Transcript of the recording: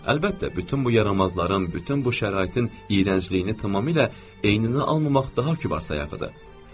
Əlbəttə, bütün bu yaramazların, bütün bu şəraitin iyrəncliyini tamamilə eyninə almamaq daha kübar sayağıdır.